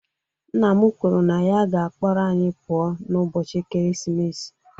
Nna m kwuru na ya ga-akpọrọ anyị pụọ n'ụbọchị ekeresimesi.